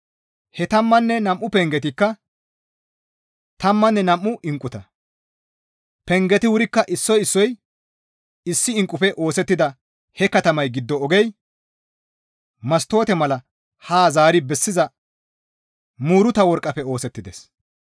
He tammanne nam7u pengetikka tammanne nam7u inqquta; pengeti wurikka issoy issoy issi inqqufe oosettida he katamay giddo ogey mastoote mala haa zaari bessiza muuruta worqqafe oosettides.